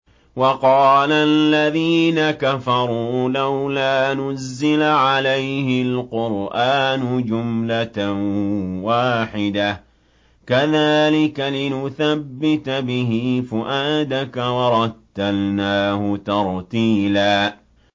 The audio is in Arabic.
وَقَالَ الَّذِينَ كَفَرُوا لَوْلَا نُزِّلَ عَلَيْهِ الْقُرْآنُ جُمْلَةً وَاحِدَةً ۚ كَذَٰلِكَ لِنُثَبِّتَ بِهِ فُؤَادَكَ ۖ وَرَتَّلْنَاهُ تَرْتِيلًا